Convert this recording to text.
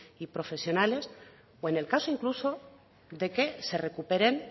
y profesionales o en el caso incluso de que se recuperen